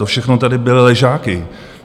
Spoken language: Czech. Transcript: To všechno tady byly ležáky.